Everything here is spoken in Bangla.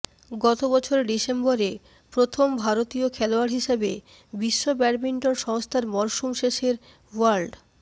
গত বছর ডিসেম্বরে প্রথম ভারতীয় খেলোয়াড় হিসেবে বিশ্ব ব্যাডমিন্টন সংস্থার মরসুম শেষের ওয়ার্ল্ড